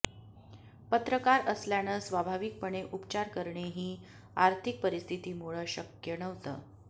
पत्रकार असल्यानं स्वाभाविकपणे उपचार करणे ही आर्थिक परिस्थितीमुळं शक्य नव्हतं